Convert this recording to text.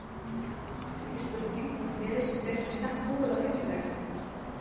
Það er því spurning hvort liðið er betur í stakk búið á fimmtudag?